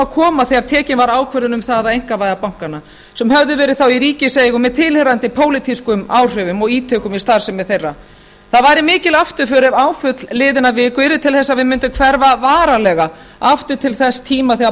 að koma þegar tekin var ákvörðun um að einkavæða bankana sem höfðu verið þá í ríkiseigu með tilheyrandi pólitískum áhrifum og ítökum í starfsemi þeirra það væri mikil afturför ef áföll liðinnar viku yrðu til þess að við mundum hverfa varanlega aftur til þess tíma þegar